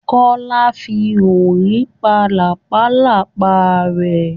Kọ́lá fi orí pa làpálàpá rẹ̀.